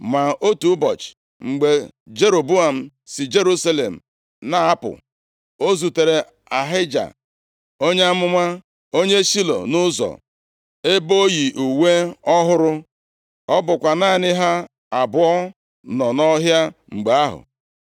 Ma otu ụbọchị, mgbe Jeroboam si Jerusalem na-apụ, o zutere Ahija onye amụma, onye Shilo, nʼụzọ, ebe o yi uwe ọhụrụ. Ọ bụkwa naanị ha abụọ nọ nʼọhịa mgbe ahụ.